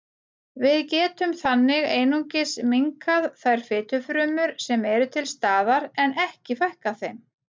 Við getum þannig einungis minnkað þær fitufrumur sem eru til staðar en ekki fækkað þeim.